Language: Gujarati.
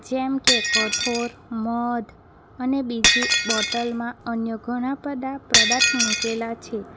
જેમ કે કઠોર મધ અને બીજે બોટલમાં અન્ય ઘણા બધા પ્રદાર્થ મુકેલા છે.